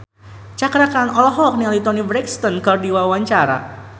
Cakra Khan olohok ningali Toni Brexton keur diwawancara